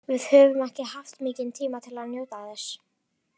Við höfum ekki haft mikinn tíma til að njóta þess.